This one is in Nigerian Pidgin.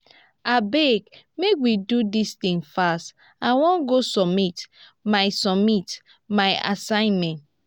abeg make we do dis thing fast i wan go submit my submit my assignment